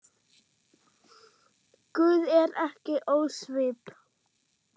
Guð er ekki ósvip